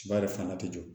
Ba yɛrɛ fana tɛ jɔ